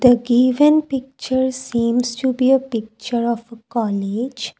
The given picture seems to be a picture of a college.